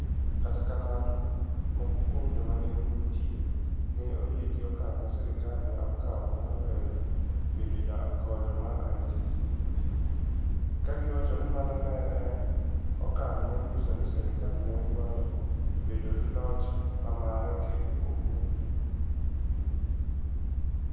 Kata kamano, moko kuom joma ne nitie ne oyie gi okang ' ma sirkal ne okawo mar weyo bedo jakanyo mar ICC, ka giwacho ni mano ne en okang ' manyiso ni sirkal ne dwaro bedo gi loch ma mare owuon.